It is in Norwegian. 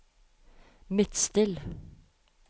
Midtstill